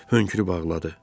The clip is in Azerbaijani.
Hönkürüb ağladı.